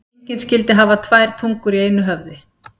Engin skyldi hafa tvær tungur í einu höfði.